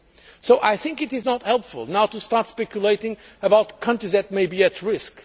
So it is not helpful to start speculating about countries that may be at risk.